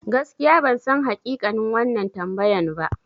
Gaskiya bansan hakikanin wannan tambayan ba.